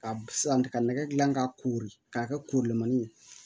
Ka sisan ka nɛgɛ gilan ka kori k'a kɛ korolen ye